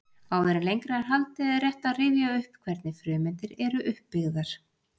Áður en lengra er haldið er rétt að rifja upp hvernig frumeindir eru uppbyggðar.